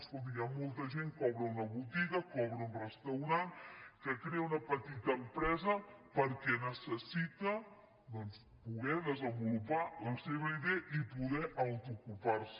escolti hi ha molta gent que obre una botiga que obre un restaurant que crea una petita empresa perquè necessita doncs poder desenvolupar la seva idea i poder autoocupar se